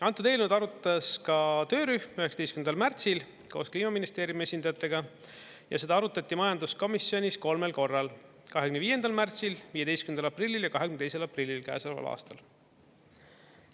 Antud eelnõu arutas ka töörühm 19. märtsil koos Kliimaministeeriumi esindajatega ja seda arutati majanduskomisjonis kolmel korral: 25. märtsil, 15. aprillil ja 22. aprillil käesoleval aastal.